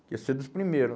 Ia ser um dos primeiro.